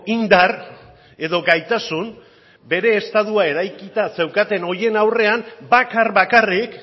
indar edo gaitasun bere estatua eraikita zeukaten horien aurrean bakar bakarrik